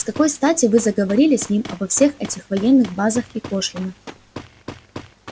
с какой стати вы заговорили с ним обо всех этих военных базах и пошлинах